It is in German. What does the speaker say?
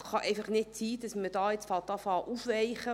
Es kann einfach nicht sein, dass man jetzt anfängt, aufzuweichen.